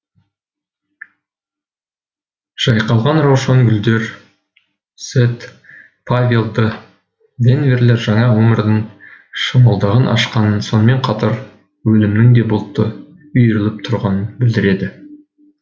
жайқалған раушан гүлдер сэт павел д денверлер жаңа өмірдің шымылдығын ашқанын сонымен қатар өлімнің де бұлты үйіріліп тұрғанын білдіреді